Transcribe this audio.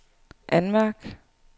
anmærk